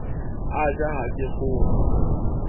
a ja ha ke kgore